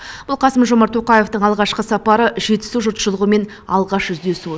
бұл қасым жомарт тоқаевтың алғашқы сапары жетісу жұртшылығымен алғаш жүздесуі